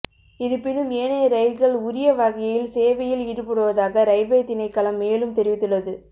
இருப்பினும் ஏனைய ரயில்கள் உரிய வகையில் சேவையில் ஈடுபடுவதாக ரயில்வே திணைக்களம் மேலும் தெரிவித்துள்ளது